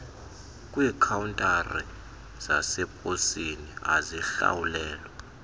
kwiikhawuntari zaseposini azihlawulelwa